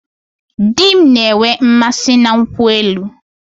Di m na-enwe mmasị na nkwụ elu